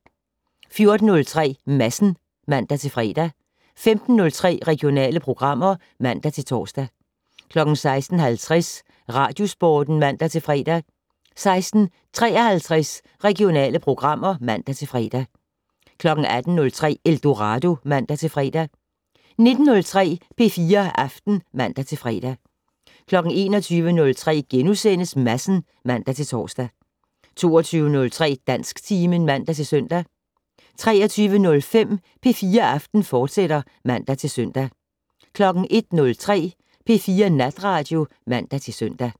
14:03: Madsen (man-fre) 15:03: Regionale programmer (man-tor) 16:50: Radiosporten (man-fre) 16:53: Regionale programmer (man-fre) 18:03: Eldorado (man-fre) 19:03: P4 Aften (man-fre) 21:03: Madsen *(man-tor) 22:03: Dansktimen (man-søn) 23:05: P4 Aften, fortsat (man-søn) 01:03: P4 Natradio (man-søn)